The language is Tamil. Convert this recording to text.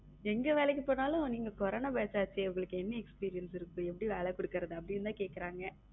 எங்க வேலைக்கு போனாலும் நீங்க கொரோனா batch ஆச்சு உங்களுக்கு என்ன experience இருக்கு எப்படி வேலை கொடுக்கிறது அப்படின்னு தான் கேக்குறாங்க.